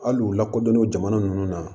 Hali u lakodɔnnen don jamana ninnu na